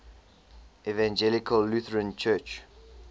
evangelical lutheran church